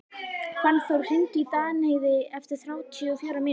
Fannþór, hringdu í Danheiði eftir þrjátíu og fjórar mínútur.